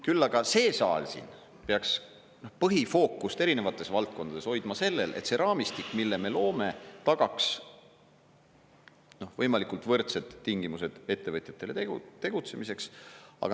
Küll aga see saal siin peaks põhifookust erinevates valdkondades hoidma sellel, et see raamistik, mille me loome, tagaks võimalikult võrdsed tingimused ettevõtjatele tegutsemiseks.